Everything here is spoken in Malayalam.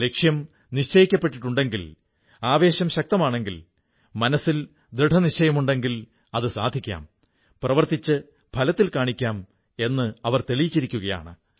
ലക്ഷ്യം നിശ്ചയിക്കപ്പെട്ടിട്ടുണ്ടെങ്കിൽ ആവേശം ശക്തമാണെങ്കിൽ മനസ്സിൽ ദൃഢനിശ്ചയമുണ്ടെങ്കിൽ അത് സാധിക്കാം പ്രവർത്തിച്ചു ഫലത്തിൽ കാണിക്കാം എന്ന് തെളിയിച്ചിരിക്കയാണ്